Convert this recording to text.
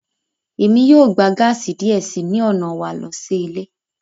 Emi yoo gba gaasi diẹ sii ni ọna wa lo si ile